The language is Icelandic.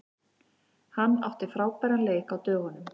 Hann átti frábæran leik á dögunum.